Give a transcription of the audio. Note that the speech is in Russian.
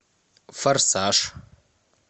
форсаж